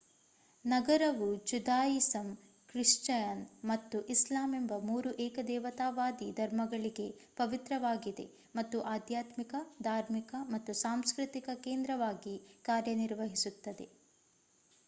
ನಗರವು Judaism Christian ಮತ್ತು ಇಸ್ಲಾಂ ಎಂಬ ಮೂರು ಏಕದೇವತಾವಾದಿ ಧರ್ಮಗಳಿಗೆ ಪವಿತ್ರವಾಗಿದೆ ಮತ್ತು ಆಧ್ಯಾತ್ಮಿಕ ಧಾರ್ಮಿಕ ಮತ್ತು ಸಾಂಸ್ಕೃತಿಕ ಕೇಂದ್ರವಾಗಿ ಕಾರ್ಯನಿರ್ವಹಿಸುತ್ತದೆ